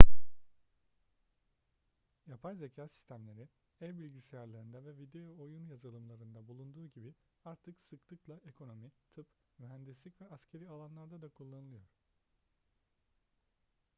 yapay zeka sistemleri ev bilgisayarlarında ve video oyun yazılımlarında bulunduğu gibi artık sıklıkla ekonomi tıp mühendislik ve askeri alanlarda da kullanılıyor